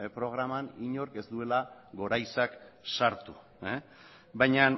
programan inork ez duela guraizeak sartu baina